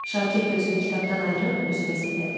Şakir gözünü kitabdan ayırıb üzümə zillədi.